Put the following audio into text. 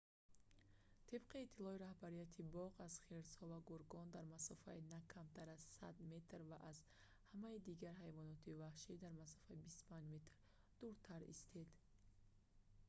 тибқи иттилои роҳбарияти боғ аз хирсҳо ва гургон дар масофаи на камтар аз 100 ярд/метр ва аз ҳамаи дигар ҳайвоноти ваҳшӣ дар масофаи 25 ярд/метр дуртар истед!